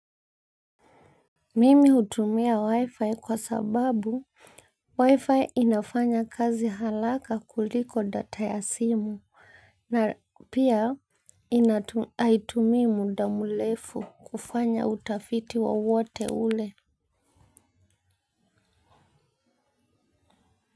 Mimi utumia wi-fi kwa sababu wi-fi inafanya kazi haraka kuliko data ya simu na pia haitumii mda mrefu kufanya utafiti wowote ule.